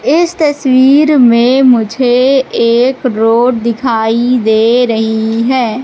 इस तस्वीर में मुझे एक रोड दिखाई दे रही है।